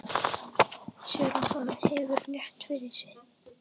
Sér að hann hefur rétt fyrir sér.